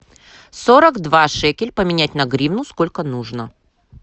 сорок два шекель поменять на гривну сколько нужно